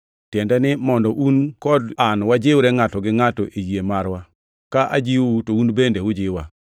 tiende ni, mondo un kod an wajiwre ngʼato gi ngʼato e yie marwa, ka ajiwou to un bende ujiwa.